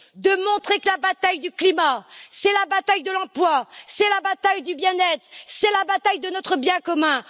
C'est de montrer que la bataille du climat, c'est la bataille de l'emploi, c'est la bataille du bien être et c'est la bataille de notre bien commun.